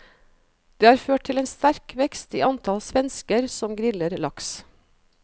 Det har ført til en sterk vekst i antall svensker som griller laks.